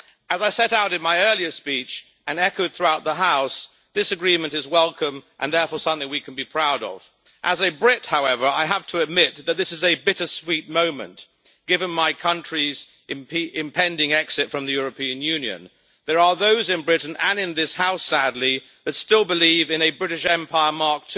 As I set out in my earlier speech and has been echoed throughout the House, this agreement is welcome and therefore something we can be proud of. As a Brit, however, I have to admit that this is a bittersweet moment, given my country's impending exit from the European Union. There are those in Britain, and in this House, sadly, that still believe in a British Empire Mk.